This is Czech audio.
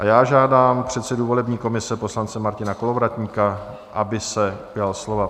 A já žádám předsedu volební komise poslance Martina Kolovratníka, aby se ujal slova.